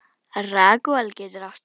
Ragúel getur átt við